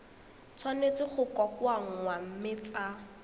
tshwanetse go kokoanngwa mme tsa